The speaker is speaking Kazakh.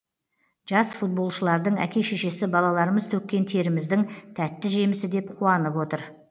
жас футболшылардың әке шешесі балаларымыз төккен теріміздің тәтті жемісі деп қуанып отыр